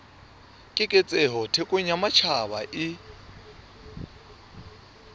keketseho thekong ya matjhaba e